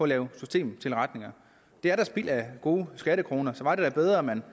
lave systemtilretninger det er da spild af gode skattekroner så var det da bedre at man